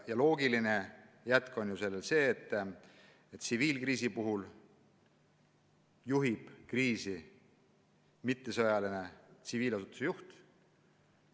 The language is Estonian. Loogiline jätk on see, et tsiviilkriisi puhul juhib kriisi mitte sõjaline, vaid tsiviilasutuse juht.